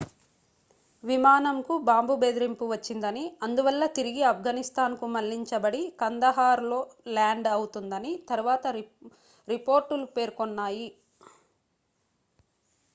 విమానంకు bomb బెదిరింపు వచ్చిందని అందువల్ల తిరిగి ఆఫ్ఘనిస్తాన్కు మళ్లించబడి కందహార్లో ల్యాండ్ అవుతుందని తరువాత రిపోర్ట్లు పేర్కొన్నాయి